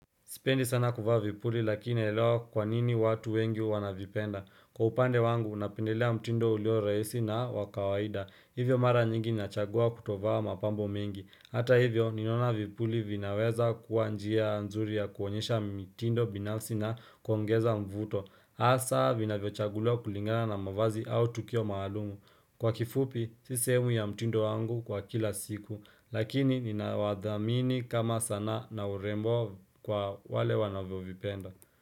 Sipendi sana kuvaa vipuli lakini naelewa kwa nini watu wengi wanavipenda. Kwa upande wangu, napendelea mtindo ulio rahisi na wa kawaida. Hivyo mara nyingi nachagua kutovaa mapambo mengi. Hata hivyo, ninaona vipuli vinaweza kuwa njia nzuri ya kuonyesha mitindo binafsi na kuongeza mvuto. Hasa, vinavyochaguliwa kulingana na mavazi au tukio maalumu. Kwa kifupi, si sehemu ya mtindo wangu wa kila siku. Lakini ninawathamini kama sana na urembo kwa wale wanavyovipenda.